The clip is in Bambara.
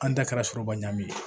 An da kɛra sɔrɔba ɲagami ye